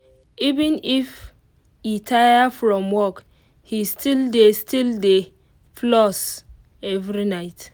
even if e tire from work he still dey still dey floss every night.